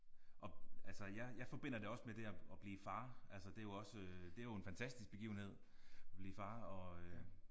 At altså jeg jeg forbinder det også med det at at blive far altså det er jo også det er jo en fantastisk begivenhed blive far og øh